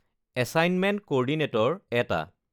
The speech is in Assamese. এছাইনমেণ্ট ক'ৰ্ডিনেটৰ ১ টা